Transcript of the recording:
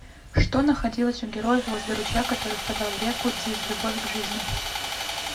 что находилось у героев возле ручья который впадал в реку диз любовь к жизни